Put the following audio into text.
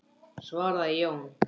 svaraði Jón.